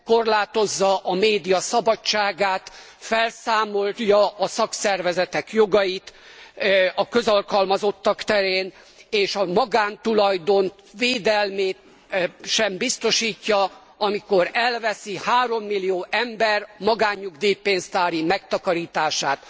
Korlátozza a média szabadságát, felszámolja a szakszervezetek jogait a közalkalmazottak terén és a magántulajdon védelmét sem biztosítja, amikor elveszi 3 millió ember magánnyugdíj pénztári megtakarítását.